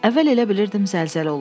Əvvəl elə bilirdim zəlzələ olub.